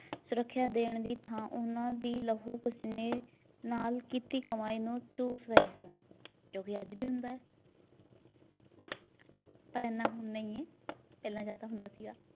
ਸੁਰੱਖਿਆ ਦੇਣ ਦੀ ਥਾਂ ਉਹਨਾਂ ਦੀ ਲਹੂ ਪਸੀਨੇ ਨਾਲ ਕੀਤੀ ਕਮਾਈ ਨੂੰ ਚੂਸ ਰਹੇ ਸਨ। ਜੋ ਵੀ ਅੱਜ ਵੀ ਹੁੰਦਾ, ਪਰ ਏਨਾ ਹੁਣ ਨਈ ਏ ਪਹਿਲਾਂ ਜ਼ਿਆਦਾ ਹੁੰਦਾ ਸੀਗਾ।